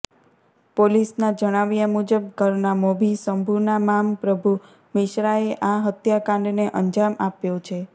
પોલીસના જણાવ્યાં મુજબ ઘરના મોભી શંભુના મામ પ્રભુ મિશ્રાએ આ હત્યાકાંડને અંજામ આપ્યો છે